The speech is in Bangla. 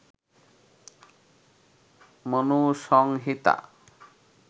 মনুসংহিতা